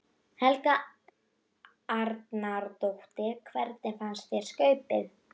Helga Arnardóttir: Hvernig fannst þér skaupið?